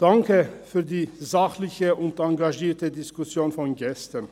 Danke für die sachliche und engagierte Diskussion von gestern.